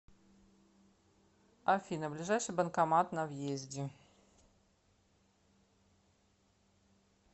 афина ближайший банкомат на въезде